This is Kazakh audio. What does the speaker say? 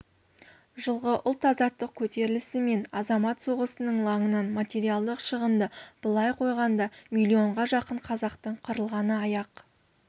жылғы ұлт-азаттық көтерілісі мен азамат соғысының лаңынан материалдық шығынды былай қойғанда миллионға жақын қазақтың қырылғаны аяқ